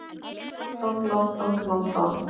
London, London, London.